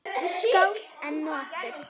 Skál enn og aftur!